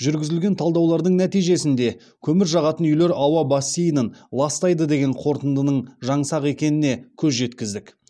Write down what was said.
жүргізілген талдаулардың нәтижесінде көмір жағатын үйлер ауа бассейнін ластайды деген қорытындының жаңсақ екеніне көз жеткіздік